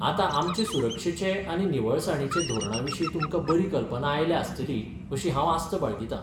आतां आमचे सुरक्षेचे आनी निवळसाणींचे धोरणाविशीं तुमकां बरी कल्पना आयल्या आसतली अशी हांव आस्त बाळगितां.